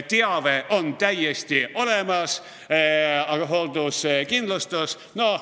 Teave on täiesti olemas, aga hoolduskindlustus ...